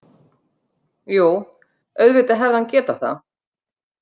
Jú, auðvitað hefði hann getað það.